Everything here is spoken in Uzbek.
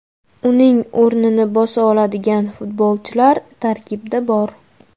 Uning o‘rnini bosa oladigan futbolchilar tarkibda bor.